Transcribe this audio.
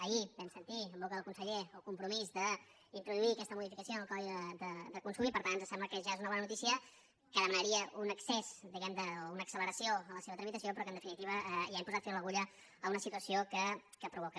ahir vam sentir en boca del conseller el compromís d’introduir aquesta modificació en el codi de consum i per tant ens sembla que ja és una bona notícia que demanaria un excés diguem ne o una acceleració en la seva tramitació però que en definitiva ja hem posat fil a l’agulla a una situació que provoca